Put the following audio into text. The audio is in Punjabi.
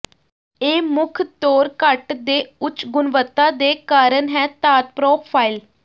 ਇਹ ਮੁੱਖ ਤੌਰ ਕੱਟ ਦੇ ਉੱਚ ਗੁਣਵੱਤਾ ਦੇ ਕਾਰਨ ਹੈ ਧਾਤ ਪਰੋਫਾਈਲ